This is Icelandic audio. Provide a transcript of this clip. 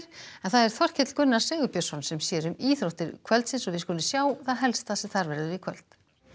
það er Þorkell Gunnar Sigurbjörnsson sem sér um íþróttir kvöldsins við skulum sjá það helsta sem þar verður í kvöld